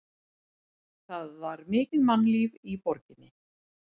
Það var mikið mannlíf í borginni.